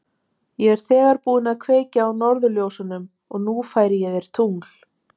Ég er þegar búinn að kveikja á norðurljósunum og nú færi ég þér tungl.